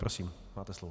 Prosím, máte slovo.